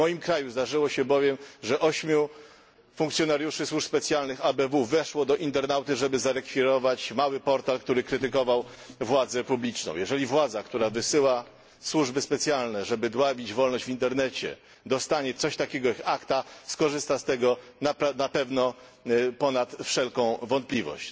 W moim kraju zdarzyło się bowiem, że 8 funkcjonariuszy służb specjalnych ABW weszło do internauty, żeby zarekwirować mały portal, który krytykował władzę publiczną. Jeżeli władza, która wysyła służby specjalne, żeby dławić wolność w internecie dostanie coś takiego jak ACTA, skorzysta z tego ponad wszelką wątpliwość.